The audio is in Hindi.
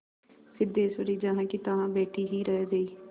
सिद्धेश्वरी जहाँकीतहाँ बैठी ही रह गई